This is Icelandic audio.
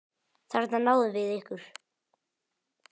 Þarna náðum við ykkur!